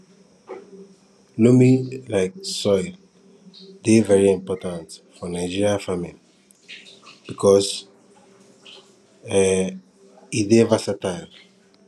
loamy um soil dey very important for nigerian farming because um e dey versatile